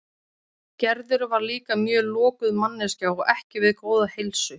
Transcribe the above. Gerður var líka mjög lokuð manneskja og ekki við góða heilsu.